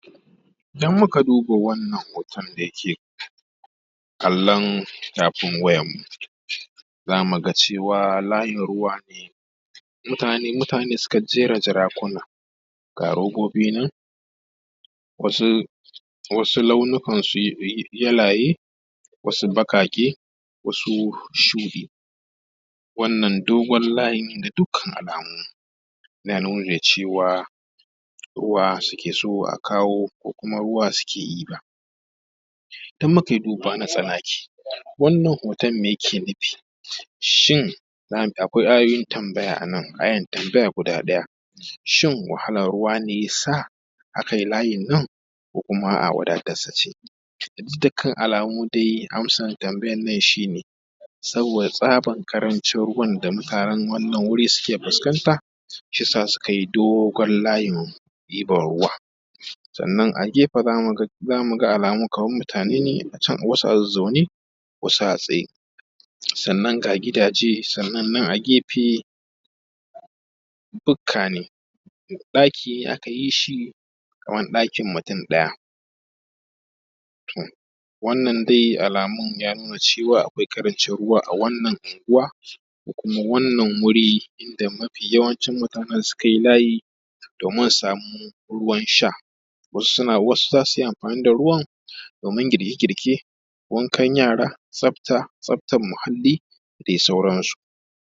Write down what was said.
Idan muka duba wannan hoton da ke kallon tafin wayarmu, za mu ga cewa layin ruwa ne. mutane ne suka jera jarkuna, ga robobi ne wasu launukan yalaye, wasu baƙaƙe wasu shuɗi. Wannan dogon layin ga dukkan alamu ya nuna cewa, ruwa suke so a kawo ko kuma ruwan suke ɗiba. In muka yi duba na tsanaki, wannan hoton me yake nufi, shin akwai ayoyin tambaya a nan, ayar tambaya guda ɗaya shin wahalar ruwa ne ya sa a kai layin nan? Ko kuma a’a wadatarsa ce? Ga dukkan alamu dai amsar tambayar nan shi ne, saboda tsabar ƙarancin ruwan da mutanen wannan wuri suke fuskanta shi ya sa suka yi dogon layin ɗiban ruwa, sannan a gefe za mu ga alamu kamar mutane ne a can, wasu zazzaune, wasu a tsaye, sannan ga gidaje sannan nan a gefe bukka ne, ɗaki aka yi shi ɗakin mutum ɗaya. To wannan dai alamu ya nuna cewa akwai ƙarancin ruwa a wannan unguwa, da kuma wannan wuri inda mafi yawancin mutane suka yi layi domin su samu ruwan sha. Wasu zasu yi amfani da ruwan domin girke-girke, wankan yara, tsabta, tsabtar iyali da dai sauransu.